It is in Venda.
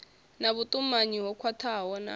na vhutumanyi ho khwathaho na